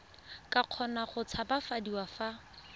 ka kgona go tshabafadiwa fa